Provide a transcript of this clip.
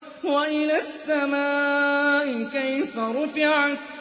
وَإِلَى السَّمَاءِ كَيْفَ رُفِعَتْ